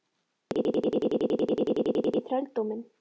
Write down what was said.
Þeir voru ekki einu sinni boðlegir í þrældóminn!